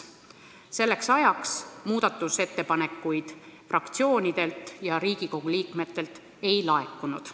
Selleks ajaks muudatusettepanekuid fraktsioonidelt ega Riigikogu liikmetelt ei laekunud.